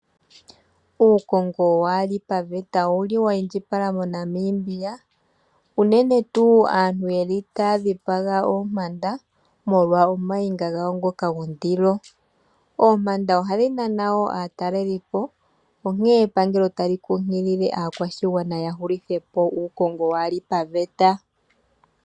Uukongo waali paveta owuli wa indjipala moNamibia, unene tuu aantu yeli taya dhipaga oompanda molwa omayinga gawo ngoka gondilo. Oompanda ohadhi nana wo aatalelipo, onkene epangelo tali kunkilile aakwashigwana ya hulithe po uukongo waali paveta.